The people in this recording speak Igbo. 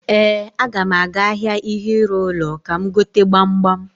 Ee, aga m aga ahịa ihe ịrụ ụlọ ka m gote gbamgbam.